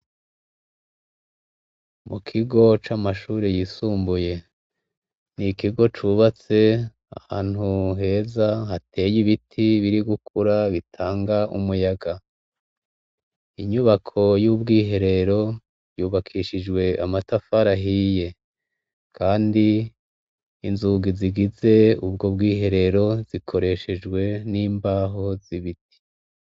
Mu kigo c'amashure yisumbuye, ni ikigo cubatse ahantu heza hateye ibiti biri gukura bitanga umuyaga, inyubako yubw'iherero yubakishijwe amatafari ahiye kandi izungi zigize ubwo bwiherero, bukoreshejwe n'imbaho z'ibiti.